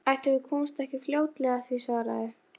Það var helst að grískan útheimti heimanám og langar yfirsetur.